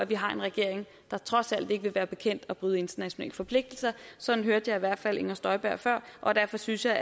vi har en regering der trods alt ikke vil være bekendt at bryde internationale forpligtelser sådan hørte jeg i hvert fald inger støjberg før og derfor synes jeg